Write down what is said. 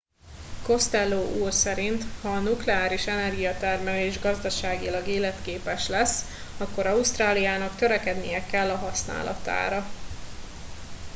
costello úr szerint ha a nukleáris energiatermelés gazdaságilag életképes lesz akkor ausztráliának törekednie kell a használatára